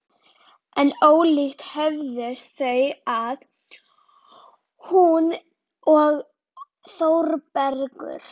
En ólíkt höfðust þau að, hún og Þórbergur.